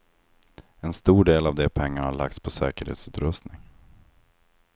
En stor del av de pengarna har lagts på säkerhetsutrustning.